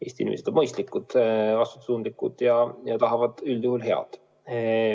Eesti inimesed on mõistlikud, vastutustundlikud ja tahavad üldjuhul head.